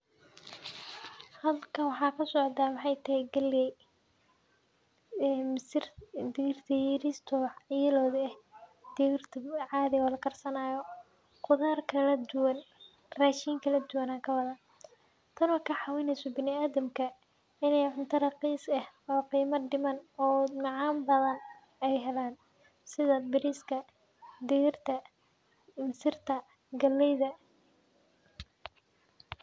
Halkan waxaa kasocda waxaa waye galey mis ee digirta yariska ah oo yellow ah digirta cadhi oo la karsanayo rashin kala duwan ayan kuwadha tan oo ka cawineyso bila adanka in ee cunto raqis eh oo qima diman oo macan eh ee halan sitha bariska digirta misirta galeyda.